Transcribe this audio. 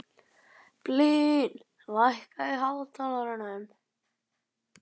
Blín, lækkaðu í hátalaranum.